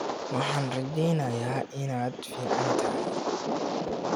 Waxaan rajeynayaa inaad fiicantahay